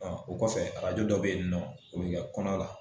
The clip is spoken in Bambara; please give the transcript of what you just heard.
o kɔfɛ arajo dɔ bɛ yen nɔ o bɛ kɛ kɔnɔ la